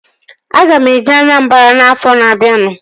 Aga m eje Anambara afọ na-abianu